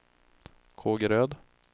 Kågeröd